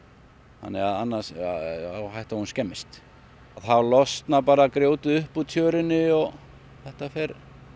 annars er hætta á að hún skemmist þá losnar bara grjótið upp úr tjörunni og þetta fer